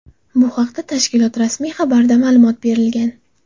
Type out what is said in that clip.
Bu haqda tashkilot rasmiy xabarida ma’lumot berilgan .